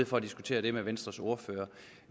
for at diskutere det med venstres ordfører